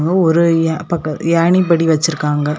அப்ரோ ஒரு யா பக்க யானி படி வச்சிருக்காங்க.